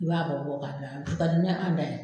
I b'a bɛɛ bɔ k'a bila, o ka di ni an ta ye.